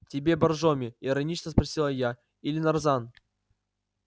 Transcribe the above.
тебе боржоми иронично спросила я или нарзан